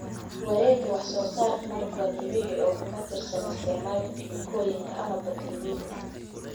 Wareega wax soo saarka malabka waa dabiici oo kuma tiirsana isticmaalka kiimikooyinka ama bacriminta.